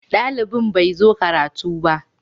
Dalibin bai zo karatu ba.